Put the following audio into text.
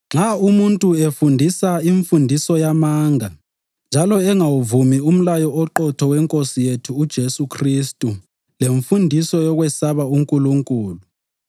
Nxa umuntu efundisa imfundiso yamanga njalo engawuvumi umlayo oqotho weNkosi yethu uJesu Khristu lemfundiso yokwesaba uNkulunkulu,